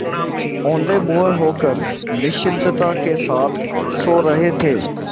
औंधे मुँह होकर निश्चिंतता के साथ सो रहे थे